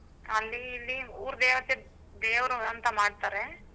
ಅಲ್ಲಿ ಇಲ್ಲಿ ಊರ್ ದೇವತೆಗ್ ದೇವ್ರು ಅಂತ ಮಾಡ್ತರೆ.